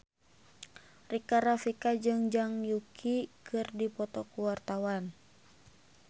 Rika Rafika jeung Zhang Yuqi keur dipoto ku wartawan